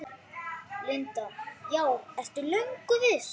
Linda: Já, ertu löngu viss?